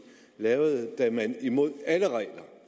lavede da man imod alle regler